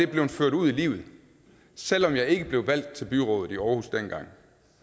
blevet ført ud i livet selv om jeg ikke blev valgt til byrådet i aarhus dengang